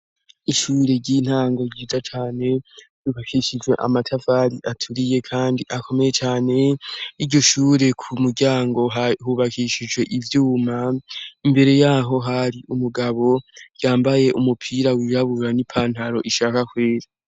Ishure ry'intango ryiza cane yubakishijwe amatafari aturiye kandi akomeye cane iryo shure ku muryango hubakishijwe ivyuma, imbere yaho hari umugabo yambaye umupira wirabura n'ipantaro ishaka kwera.